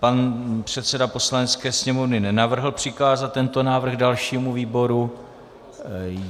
Pan předseda Poslanecké sněmovny nenavrhl přikázat tento návrh dalšímu výboru.